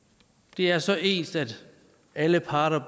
det er så ens at alle parter